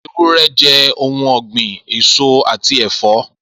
Ewúrẹ́ jẹ ohun ọgbin, eso ati ẹ̀fọ́.